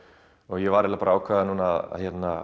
ég var eiginlega bara að ákveða það núna